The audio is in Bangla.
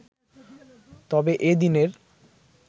তবে এদিনের